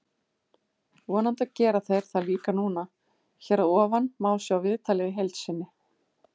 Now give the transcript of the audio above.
Vonandi gera þeir það líka núna. Hér að ofan má sjá viðtalið í heild sinni.